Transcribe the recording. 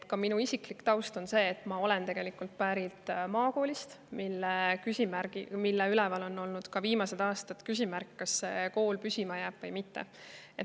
Ka minu isiklik taust on see, et ma olen pärit maakoolist, mille kohal on olnud viimased aastad küsimärk, kas see kool püsima jääb või mitte.